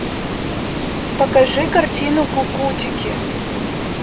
покажи картину кукутики